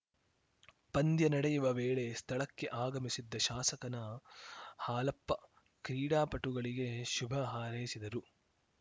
ಪಂದ್ಯ ನಡೆಯುವ ವೇಳೆ ಸ್ಥಳಕ್ಕೆ ಆಗಮಿಸಿದ್ದ ಶಾಸಕ ಹಾಲಪ್ಪನ ಕ್ರೀಡಾಪಟುಗಳಿಗೆ ಶುಭ ಹಾರೈಸಿದರು